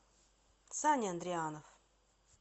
саня андрианов